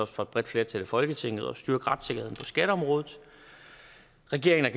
for et bredt flertal i folketinget at styrke retssikkerheden på skatteområdet regeringen